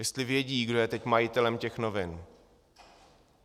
Jestli vědí, kdo je teď majitelem těch novin.